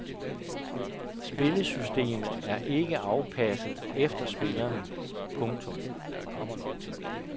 Spillesystemet er ikke afpasset efter spillerne. punktum